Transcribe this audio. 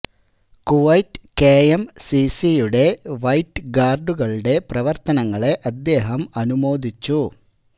Kuwait കെ എം സി സിയുടെ വൈറ്റ് ഗാര്ഡുകളുടെ പ്രവര്ത്തനങ്ങളെ അദ്ദേഹം അനുമോദിച്ചു